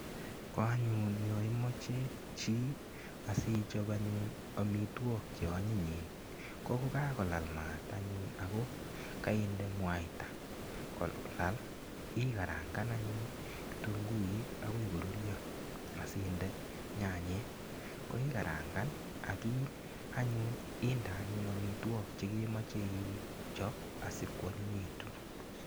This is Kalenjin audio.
Ko anyun yo imoche chi asichop anyun amitwog che anyinyen ko kogakolal mat anyun ago kainde mwita kolal ikarangan anyun kitunguik agoi korurio asinde nyanyek. Koigarangan ak anyun inde amitwok chegemoche ichop asikwanyinyegitu.